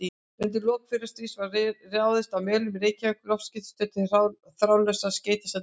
Undir lok fyrra stríðs var reist á Melunum í Reykjavík loftskeytastöð til þráðlausra skeytasendinga.